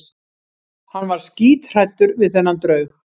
Hann var skíthræddur við þennan draug.